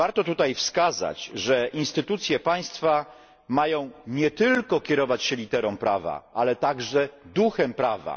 Warto tutaj wskazać, że instytucje państwa mają nie tylko kierować się literą prawa, ale także duchem prawa.